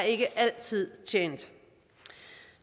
ikke altid er tjent